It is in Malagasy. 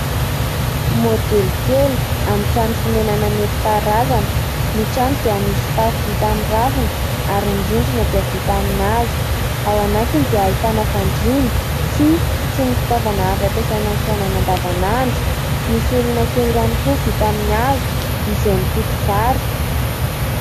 Modely kely amin'ny trano fonenana nentim-paharazana, ny trano dia misy tafo vita amin'ny ravina ary ny rindrina dia vita amin'ny hazo. Ao anatiny dia ahitana fandriana, tsihy sy ny fitaovana azo ampiasaina amin'ny fiainana andavanandro, misy olona kely ihany koa vita amin'ny hazo izay mitoto vary.